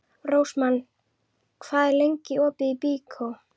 Rósmann, hvað er lengi opið í Byko?